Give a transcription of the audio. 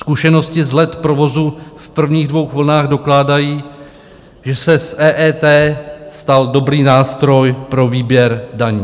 Zkušenosti z let provozu v prvních dvou vlnách dokládají, že se z EET stal dobrý nástroj pro výběr daní.